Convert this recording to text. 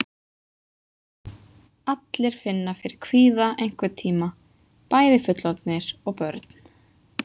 Allir finna fyrir kvíða einhvern tíma, bæði fullorðnir og börn.